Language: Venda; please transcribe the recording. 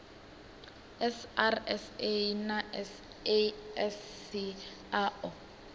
srsa na sasc a o